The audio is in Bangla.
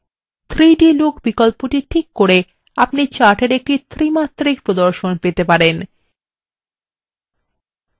3d look বিকল্পটি টিক করে আপনি চাটের একটি ত্রিমাত্রিক প্রদর্শন পেতে পারেন